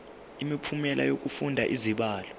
imiphumela yokufunda izibalo